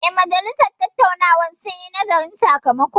Eh, majalisar dattawan sun yi nazarin sakamakon